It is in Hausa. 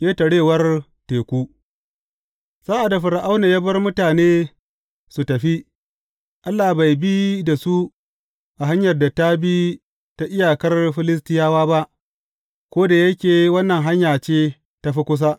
Ƙetarewar teku Sa’ad da Fir’auna ya bar mutane su tafi, Allah bai bi da su a hanyar da ta bi ta iyakar Filistiyawa ba, ko da yake wannan hanya ce ta fi kusa.